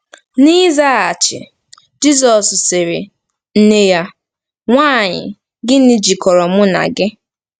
N'ịzaghachi, Jizọs sịrị nne ya: “Nwaanyị, gịnị jikọrọ mụ na gị?